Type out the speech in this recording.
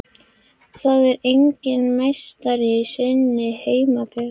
En það er enginn meistari í sinni heimabyggð.